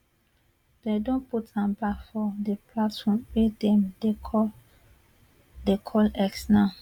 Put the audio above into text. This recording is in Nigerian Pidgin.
dem don put am back for di platform wey dem dey call dey call x now